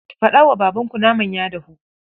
Faɗa wa babanku naman ya dahu.